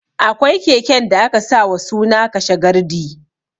Akwai keken da aka sa wa suna ''kashe gardi'